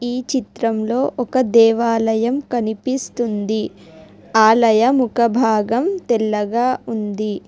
ఈ చిత్రంలో ఒక దేవాలయం కనిపిస్తుంది ఆలయ ముఖ భాగం తెల్లగా ఉంది.